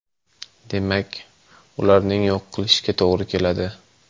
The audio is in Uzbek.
Demak, ularni yo‘q qilishga to‘g‘ri keladi.